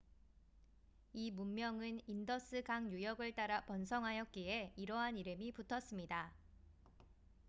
이 문명은 인더스 강 유역을 따라 번성하였기에 이러한 이름이 붙었습니다